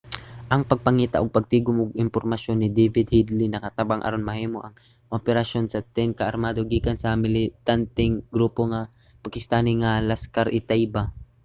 ang pagpangita ug pagtigum og impormasyon ni david headley nakatabang aron mahimo ang operasyon sa 10 ka armado gikan sa militanteng grupo nga pakistani nga laskhar-e-taiba